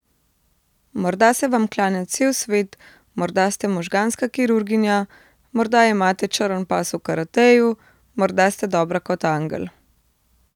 Morda se vam klanja cel svet, morda ste možganska kirurginja, morda imate črn pas v karateju, morda ste dobra kot angel.